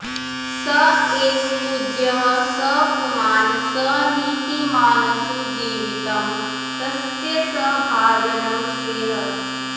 स एव पूज्यः स पुमान् स नीतिमान्सुजीवितं तस्य स भाजनं श्रियः